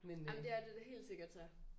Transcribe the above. Ej men det er det da helt sikkert så